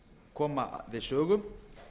koma við sögu